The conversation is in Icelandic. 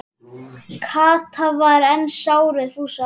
Kata var enn sár við Fúsa.